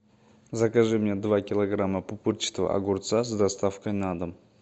закажи мне два килограмма пупырчатого огурца с доставкой на дом